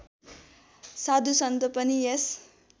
साधुसन्त पनि यस